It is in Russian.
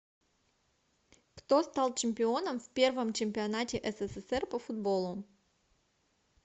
кто стал чемпионом в первом чемпионате ссср по футболу